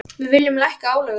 Við viljum lækka álögur.